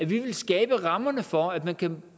vil skabe rammerne for at man kan